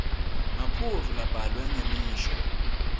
maphuzu labhalwe ngemisho